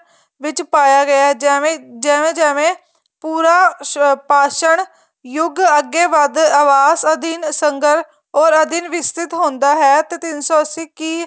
ਵਿੱਚ ਪਾਇਆ ਗਿਆ ਹੈ ਜਿਵੇਂ ਜਿਵੇਂ ਜਿਵੇਂ ਪੂਰਾ ਪਾਸ਼ਨ ਯੁੱਗ ਅੱਗੇ ਵੱਧ ਆਵਾਸ ਅਧੀਨ ਸਗੰਰ ਔਰ ਅਧੀਨ ਵਿਸਚਿਤ ਹੁੰਦਾ ਹੈ ਤੇ ਤਿੰਨ ਸੋ ਅੱਸੀ ਕੀ